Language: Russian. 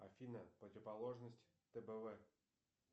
афина противоположность тбв